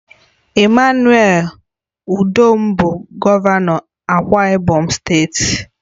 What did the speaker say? EMMANUEL UDOM bụ gọvanọ Akwa Ibom steeti